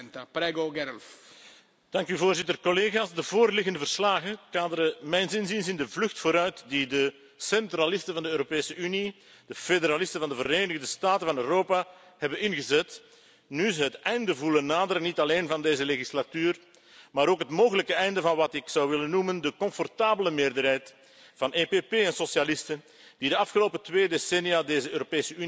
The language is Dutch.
Voorzitter, collega's, de voorliggende verslagen kaderen mijns inziens in de vlucht vooruit die de centralisten van de Europese Unie, de federalisten van de Verenigde Staten van Europa, hebben ingezet, nu ze het einde voelen naderen, niet alleen van deze legislatuur, maar ook het mogelijke einde van wat ik zou willen noemen de comfortabele meerderheid van EPP en socialisten die de afgelopen twee decennia deze Europese Unie heeft uitgebouwd tot een